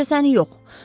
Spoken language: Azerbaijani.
Təkcə səni yox.